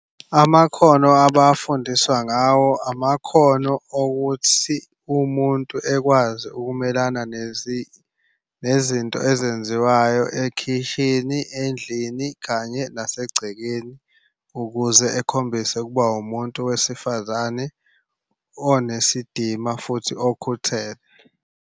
Amakhono abafundiswa ngawo amakhono okuthi umuntu ekwazi ukumelana nezinto ezenziwayo ekhishini, endlini, kanye nasegcekeni ukuze ekhombise ukuba umuntu wesifazane onesidima futhi okhuthele.